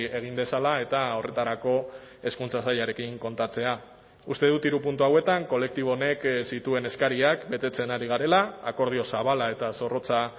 egin dezala eta horretarako hezkuntza sailarekin kontatzea uste dut hiru puntu hauetan kolektibo honek zituen eskariak betetzen ari garela akordio zabala eta zorrotza